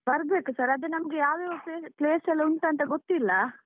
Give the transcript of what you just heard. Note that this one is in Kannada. ಬರ್ಬೇಕು sir ಅದು ನಮ್ಗೆ ಯಾವ ಯಾವ place ಎಲ್ಲ ಉಂಟಂತ ಗೊತ್ತಿಲ್ಲ.